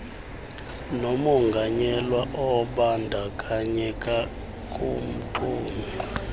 nomonganyelwa obandakanyeka kumxumi